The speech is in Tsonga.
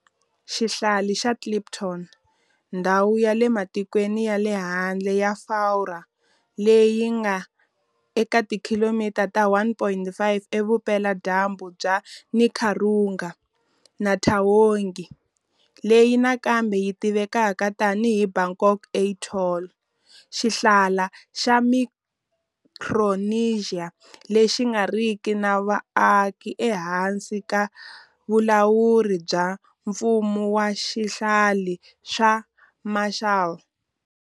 Xihlala xa Clipperton, ndhawu ya le matikweni ya le handle ya Furwa leyi nga eka tikhilomitara ta 1 500 evupela-dyambu bya Nicaragua, na Taongi, leyi nakambe yi tiviwaka tanihi Bokak Atoll, xihlala xa Micronesia lexi nga riki na vaaki ehansi ka vulawuri bya Mfumo wa Swihlala swa Marshall.